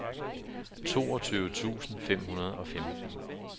toogtyve tusind fem hundrede og femten